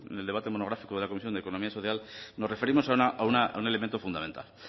en el debate monográfico de la comisión de economía social nos referimos a un elemento fundamental